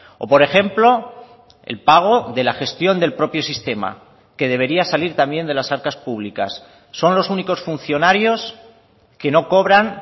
o por ejemplo el pago de la gestión del propio sistema que debería salir también de las arcas públicas son los únicos funcionarios que no cobran